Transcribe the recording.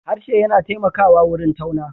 Harshe yana taimakawa wurin tauna.